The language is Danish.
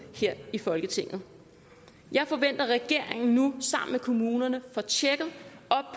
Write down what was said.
her i folketinget jeg forventer at regeringen nu sammen med kommunerne